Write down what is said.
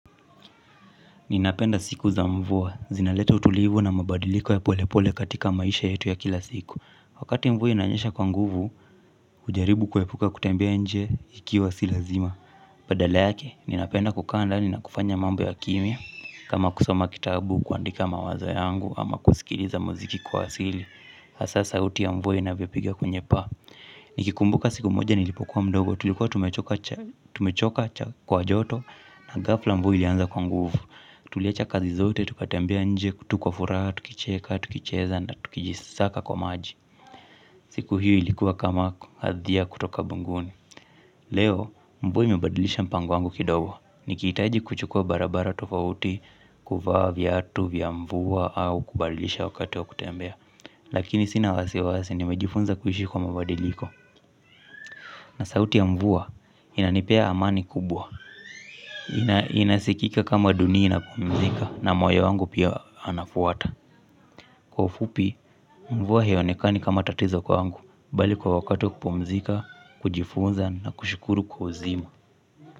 Ninapenda siku za mvua, zinaleta utulivu na mabadiliko ya pole pole katika maisha yetu ya kila siku. Wakati mvua inanyesha kwa nguvu, hujaribu kuepuka kutembea nje ikiwa si lazima badala yake, ninapenda kukaa ndani, na kufanya mambo ya kimya. Kama kusoma kitabu kuandika mawazo yangu, ama kusikiliza muziki kwa asili hasa sauti ya mvua inavyopiga kwenye paa. Nikikumbuka siku moja nilipokuwa mdogo, tulikuwa tumechoka kwa joto. Na ghafla mvua ilianza kwa nguvu. Tuliacha kazi zote, tukatembea nje, tu kwa furaha tukicheka, tukicheza na tukijisaka kwa maji. Siku hiyo ilikuwa kama hadhia kutoka mbinguni. Leo, mvua imebadilisha mpango wangu kidogo. Nikihitaji kuchukua barabara tofauti, kuvaa, viatu, vya mvua au kubadilisha wakati wa kutembea. Lakini sina wasiwasi nimejifunza kuishi kwa mabadiliko. Na sauti ya mvua, inanipea amani kubwa. Inasikika kama dunia inapumzika na moyo wangu pia anafuata. Kwa ufupi, mvua hionekani kama tatizo kwangu. Bali kwa wakati wa kupumzika, kujifunza na kushukuru kwa uzima.